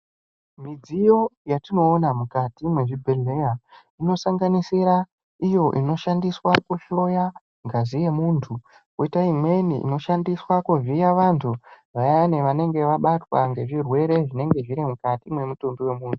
Midziyo yatinoona mukati mwezvibhedhleya inosanganisira iyo inoshandiswa kuhloya ngazi yemuntu kwoita imweni inoshandiswa kuvhiya vantu vayani vanenge vabatwa ngezvirwerw Zvinenge zviri mukati mwemutumbi wemunhu.